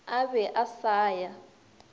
a be a sa ya